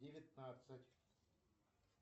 девятнадцать